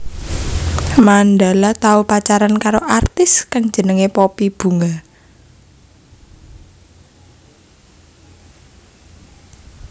Mandala tau pacaran karo artis kang jenengé Poppy Bunga